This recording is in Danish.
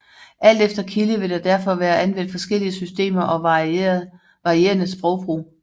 Alt efter kilde vil der derfor være anvendt forskellige systemer og varierende sprogbrug